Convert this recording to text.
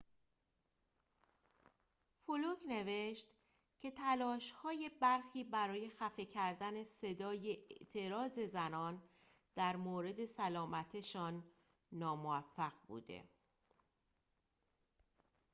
فلوک نوشت که تلاش‌های برخی برای خفه کردن صدای اعتراض زنان در مورد سلامتشان ناموفق بود